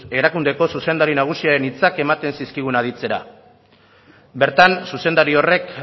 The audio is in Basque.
erakundeko zuzendari nagusiaren hitzak ematen zizkigun aditzera bertan zuzendari horrek